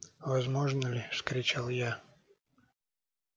возможно ли вскричал я